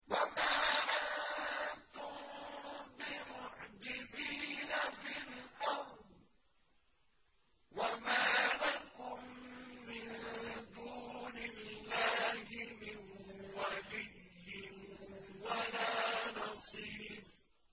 وَمَا أَنتُم بِمُعْجِزِينَ فِي الْأَرْضِ ۖ وَمَا لَكُم مِّن دُونِ اللَّهِ مِن وَلِيٍّ وَلَا نَصِيرٍ